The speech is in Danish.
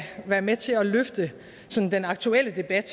være med til at løfte den aktuelle debat